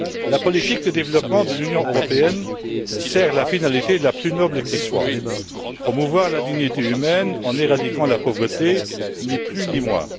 La politique de développement de l'Union européenne sert la finalité la plus noble qui soit, promouvoir la dignité humaine en éradiquant la pauvreté, ni plus ni moins.